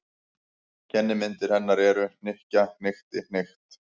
Kennimyndir hennar eru: hnykkja- hnykkti- hnykkt.